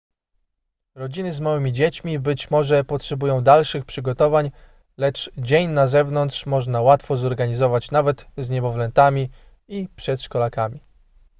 rodziny z małymi dziećmi być może potrzebują dalszych przygotowań lecz dzień na zewnątrz można łatwo zorganizować nawet z niemowlętami i przedszkolakami